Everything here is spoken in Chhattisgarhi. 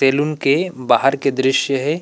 तेलुन के बाहर के दृस्य हे।